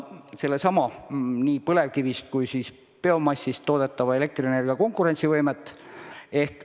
Ehk sellega saab tõsta nii põlevkivist kui ka biomassist toodetava elektrienergia konkurentsivõimet.